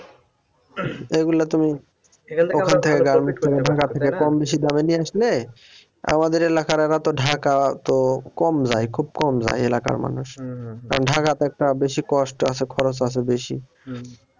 এগুলা তুমি কম বেশি দামে নিয়ে আসলে আমাদের এলাকার এরা তো ঢাকা তো কম যায়, খুব কম যায় এলাকার মানুষ কারণ ঢাকা তো একটা বেশি cost আছে খরচ আছে বেশি।